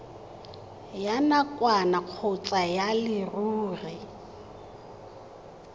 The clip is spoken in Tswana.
ya nakwana kgotsa ya leruri